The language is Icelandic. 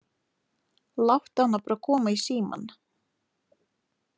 Láttu hana bara koma í símann.